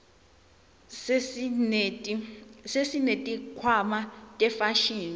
sesineti khwama tefashini